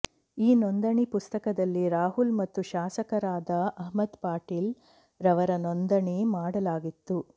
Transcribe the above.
ಈ ನೋಂದಣಿ ಪುಸ್ತಕದಲ್ಲಿ ರಾಹುಲ್ ಮತ್ತು ಶಾಸಕರಾದ ಅಹ್ಮದ ಪಟೇಲ್ ರವರ ನೋಂದಣಿ ಮಾಡಲಾಗಿತ್ತು